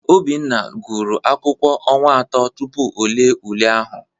Obinna gụrụ akwụkwọ ọnwa atọ tupu e lee ule ahụ